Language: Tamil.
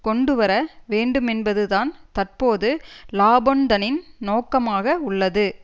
கொண்டு வர வேண்டுமென்பது தான் தற்போது லாபொன்தனின் நோக்கமாக உள்ளது